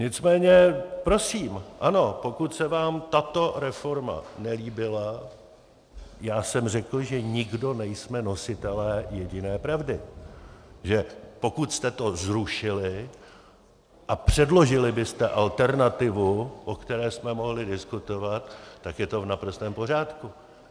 Nicméně prosím, ano, pokud se vám tato reforma nelíbila, já jsem řekl, že nikdo nejsme nositelem jediné pravdy, že pokud jste to zrušili a předložili byste alternativu, o které jsme mohli diskutovat, tak je to v naprostém pořádku.